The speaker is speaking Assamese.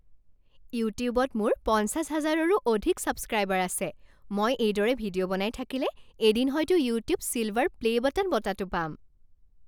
ইউটিউবত মোৰ পঞ্চাছ হাজাৰৰো অধিক ছাবস্ক্ৰাইবাৰ আছে। মই এইদৰে ভিডিঅ' বনাই থাকিলে এদিন হয়তো ইউটিউব ছিলভাৰ প্লে' বাটন বঁটাটো পাম।